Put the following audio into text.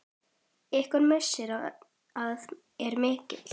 Ykkar missir er mikill.